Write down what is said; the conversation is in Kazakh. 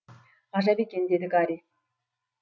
ғажап екен деді гарри